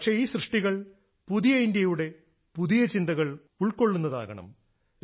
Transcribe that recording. പക്ഷേ ഈ സൃഷ്ടികൾ പുതിയ ഇന്ത്യയുടെ പുതിയ ചിന്തകൾ ഉൾക്കൊള്ളുന്നതാകണം